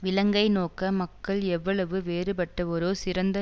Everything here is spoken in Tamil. விலங்கை நோக்க மக்கள் எவ்வளவு வேறுபட்டவரோ சிறந்த